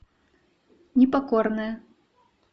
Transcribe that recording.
непокорная